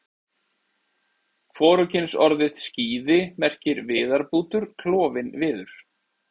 Hvorugkynsorðið skíði merkir viðarbútur, klofinn viður.